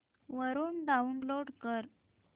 वरून डाऊनलोड कर